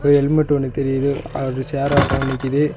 ஒரு ஹெல்மெட் ஒன்னு தெரியிது அது ஷேர் ஆட்டோ நிக்கிது.